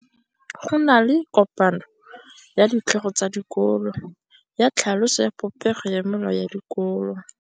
Go na le kopanô ya ditlhogo tsa dikolo ya tlhaloso ya popêgô ya melao ya dikolo.